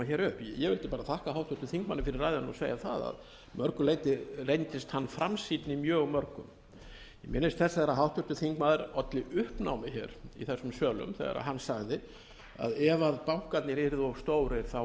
upp ég vildi þakka háttvirtum þingmanni fyrir ræðuna og segja það að að mörgu leyti reyndist hann framsýnni mjög mörgum ég minnist þess að þegar háttvirtur þingmaður olli uppnámi í þessum sölum þegar hann sagði að ef bankarnir yrðu of stórir ætti